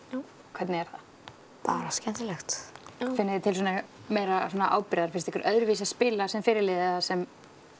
hvernig er það bara skemmtilegt finnið þið til meiri ábyrgðar finnst ykkur öðruvísi að spila sem fyrirliði eða sem